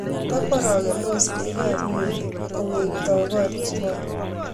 tokworokendas bikaab welii kowektaei koriwak